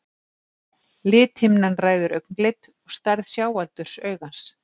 lithimnan ræður augnlit og stærð sjáaldurs augans